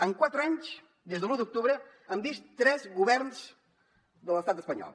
en quatre anys des de l’u d’octubre hem vist tres governs de l’estat espanyol